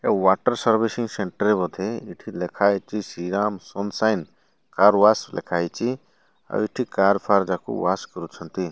ଏ water servicing center ବୋଧେ ଏଠି ଲେଖାହେଇଛି Shri Ram sunshine car wash ଲେଖାହେଇଛି ଆଉ ଏଠି କାର ଫାର୍ ଯାଙ୍କ ୱାଶ କରୁଛନ୍ତି।